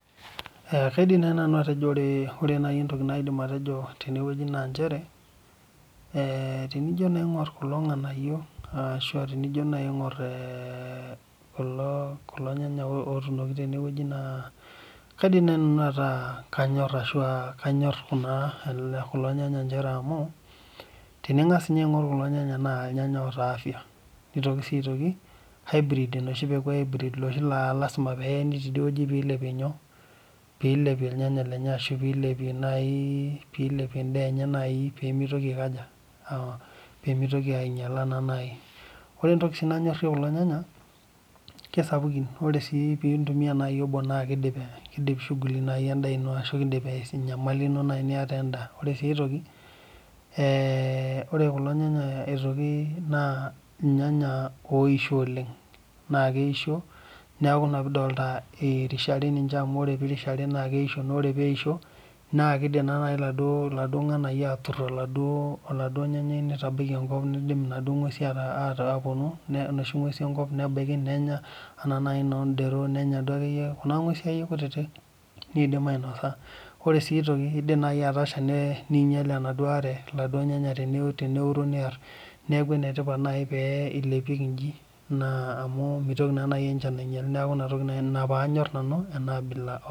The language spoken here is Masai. Kaidim naaji nanu atejo ore naaji entoki naidim atejo tene naa njere tenijo aing'or kulo nganayio ashu tenijo aing'or kulo Nganya otunoki tene naa kaidim naaji nanu ataa kanyor ashu kanyor kulo nyanya amu teningas ninye aing'or kulo nyanya naa keeta afya nitoki sii hybrid enoshi peeku ee hybrid naa lasima pee eyini teidie wueji pee eilepi irnganya lenye ashu pilepie naaji pilepie enda enye pee mitoki ainyiala naa naaji ore entoki nanyorie kulo nyanya kisapukin ore sii pintumia obo naa kidip shughuli endaa eno ashu kidip enyamali eno niata endaa ore aitoki ore kulo nyanya aitoki na irnyanya oyisho oleng naa keisho neeku ena piidol eirishare ninche amu keisho naa ore pee eisho naa kidim eladuo nganayio atur oloduo nyanyai nidim enoshi ng'uesi eyetu near enoshi nguesin enkop nbaiki nenya ena oshi edero nenya akeyie Kuna ng'uesi kutiti kidim ainosa ore sii aitoki kidim Natasha ninyial enaduo are eladuo nyanya niar neeku enetipat naaji tenilepieki eji amu mitoki naaji enchan ainyial neeku enaa pee anymore nau ena abila